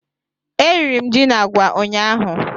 Eriri m ji na agwa ụnyaahụ